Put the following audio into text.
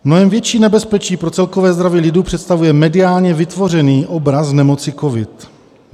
- Mnohem větší nebezpečí pro celkové zdraví lidu představuje mediálně vytvořený obraz nemoci covid.